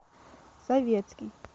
советский